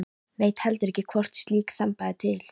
Veit heldur ekki hvort slík þemba er til.